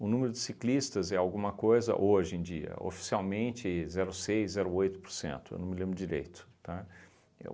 O número de ciclistas é alguma coisa hoje em dia, oficialmente zero seis, zero oito por cento eu não me lembro direito, tá? E